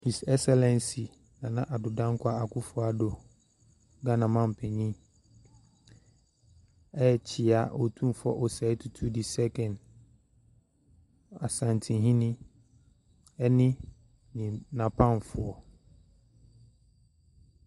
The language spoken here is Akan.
His Excellency Nana Addo Danquah Akuffo Addo, Ghanamanpanyin ɛrekyia Otumfoɔ Osei tutu II, Asantehene ɛne na pamfoɔ.